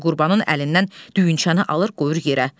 Qurbanın əlindən düyünçəni alır, qoyur yerə.